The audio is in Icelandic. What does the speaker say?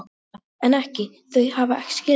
Edda: En ekki, þau hafa ekki skilað sér þá?